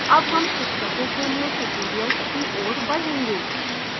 अब हम शिक्षकों के लिए tutorials की ओर बढ़ेंगे